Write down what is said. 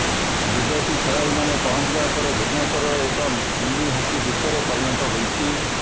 ବିଦେଶୀ ଖେଳାଳିମାନେ ପହଞ୍ଚିବା ପରେ ଭୁବନେଶ୍ବର ଏକ ମିନି ହକି ବିଶ୍ବରେ ପରିଣତ ହୋଇଛି